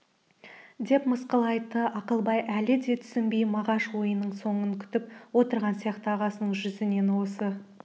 деп мысқыл айтты ақылбай әлі де түсінбей мағаш ойының соңын күтіп отырған сияқты ағасының жүзінен осы